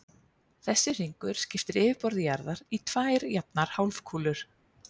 Þessi hringur skiptir yfirborði jarðar í tvær jafnar hálfkúlur.